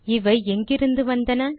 இவை எங்கிருந்து வந்தன